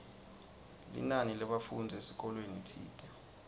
linani lebafundzi esikolweni tsite